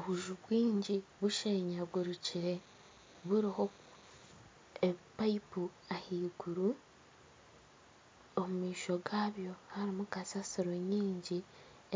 Obunju bwingi bushenyagurukire buriho ebipayipu ahaiguru omu maisho gabyo harimu kasaasiro nyingi